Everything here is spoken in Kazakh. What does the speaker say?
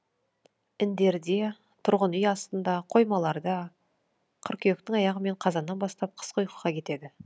індерде тұрғын үй астында қоймаларда қыркүйектің аяғы мен қазаннан бастап қысқы ұйқыға кетеді